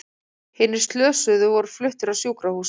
Hinir slösuðu voru fluttir á sjúkrahús